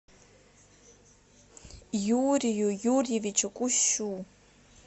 юрию юрьевичу кущу